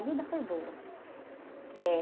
A vida foi boa. Eh...